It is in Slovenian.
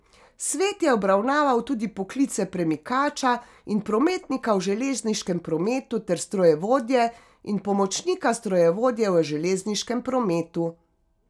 Svet je obravnaval tudi poklice premikača in prometnika v železniškem prometu ter strojevodje in pomočnika strojevodje v železniškem prometu.